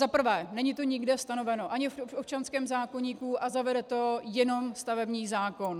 Za prvé, není to nikde stanoveno, ani v občanském zákoníku, a zavede to jenom stavební zákon.